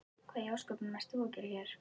Hvað í ósköpunum ert þú að gera hér?